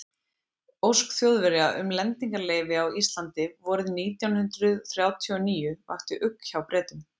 ósk þjóðverja um lendingarleyfi á íslandi vorið nítján hundrað þrjátíu og níu vakti ugg hjá bretum